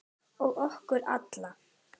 Og okkur alla.